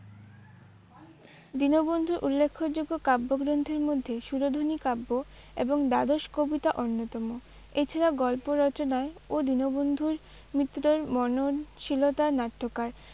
দীনবন্ধুর উল্লেখ্য যোগ্য কাব্যগ্রন্থের মধ্যে সুরধনী কাব্য এবং দ্বাদশ কবিতা অন্যতম। এছাড়া গল্প রচনায় ও দীনবন্ধুর মিত্রর মননশীলতার নাট্যকার